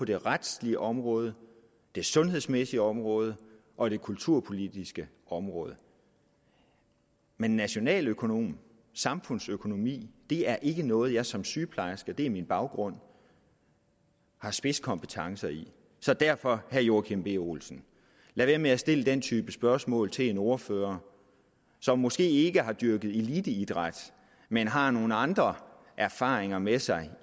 det retslige område det sundhedsmæssige område og det kulturpolitiske område men nationaløkonomi samfundsøkonomi er ikke noget jeg som sygeplejerske og det er min baggrund har spidskompetence i så derfor herre joachim b olsen lad være med at stille den type spørgsmål til en ordfører som måske ikke har dyrket eliteidræt men har nogle andre erfaringer med sig